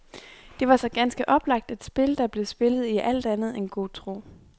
Det var så ganske oplagt et spil, der blev spillet i alt andet end god tro.